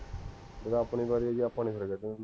ਜਦੋਂ ਆਪਣੀ ਵਾਰੀ ਆਏਗੀ, ਆਪਾਂ ਨੀ ਖਰਚਾ ਕਰਨਾ